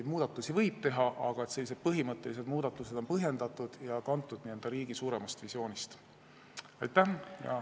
Muudatusi võib kindlasti teha, aga põhimõttelised muudatused peavad olema põhjendatud ja kantud n-ö riigi suuremast visioonist.